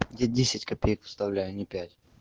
я десять копеек вставляю а не пять